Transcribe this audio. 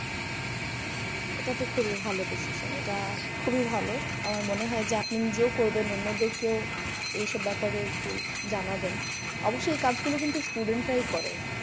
এটা তো খুবই ভালো decision. এটা খুবই ভালো আমার মনে হয় যে আপনি নিজেও করবেন। অন্যদেরকে ও এইসব ব্যাপারে একটু জানাবেন। অবশ্য এই কাজ গুলো কিন্তু student রাই করে।